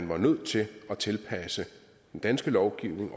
var nødt til at tilpasse den danske lovgivning